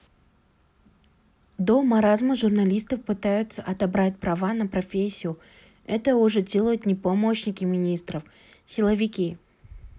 до маразма журналистов пытаются отобрать право на профессию это уже делают ни помощники министров силовики